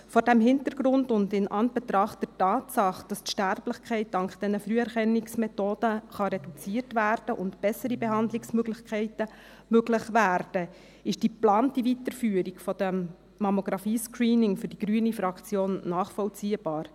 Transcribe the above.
Vor diesem Hintergrund und in Anbetracht der Tatsache, dass die Sterblichkeit dank dieser Früherkennungsmethoden reduziert werden kann und bessere Behandlungsmöglichkeiten möglich werden, ist die geplante Weiterführung des Mammographie-Screenings für die Fraktion Grüne nachvollziehbar.